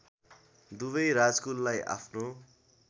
दुबै राजकुललाई आफ्नो